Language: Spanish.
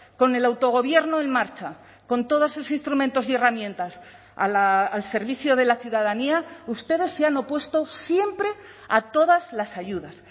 con el autogobierno en marcha con todas sus instrumentos y herramientas al servicio de la ciudadanía ustedes se han opuesto siempre a todas las ayudas